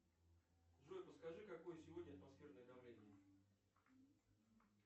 джой подскажи какое сегодня атмосферное давление